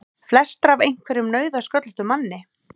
Flestar af einhverjum nauðasköllóttum manni!